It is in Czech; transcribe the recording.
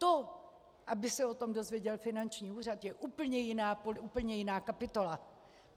To, aby se o tom dozvěděl finanční úřad, je úplně jiná kapitola.